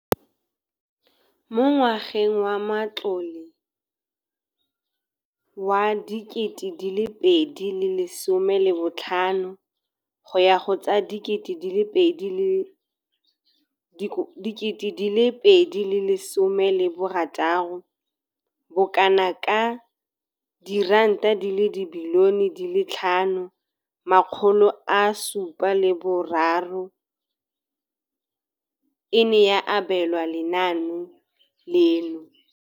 Mo ngwageng wa matlole wa 2015,16, bokanaka R5 703 bilione e ne ya abelwa lenaane leno.